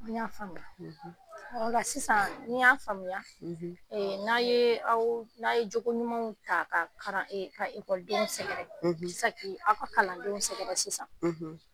Y'a faamuya o la sisan y'a faamuya n'a ye jogoɲumanw ta ka kalandenw sɛgɛrɛ sisan ,